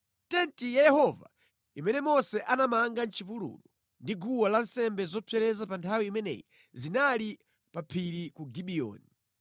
Tenti ya Yehova imene Mose anapanga mʼchipululu, ndi guwa lansembe zopsereza pa nthawi imeneyi zinali pa phiri ku Gibiyoni.